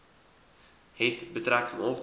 het betrekking op